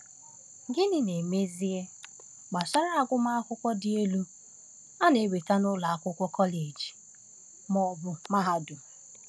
Gịnị, n’ezie, gbasara agụmakwụkwọ dị elu, a na-enweta n’ụlọ akwụkwọ kọleji ma ọ bụ mahadum?